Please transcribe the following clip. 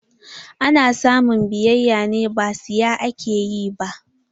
Ana samun biyayya ne, ba saya ake yi ba.